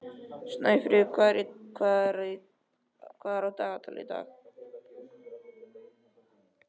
Snæfríð, hvað er á dagatalinu í dag?